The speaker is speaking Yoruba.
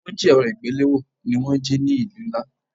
Wọ́n jí èrọ ìgbéléwọ́ ni wón jí ní ìlú ńlá.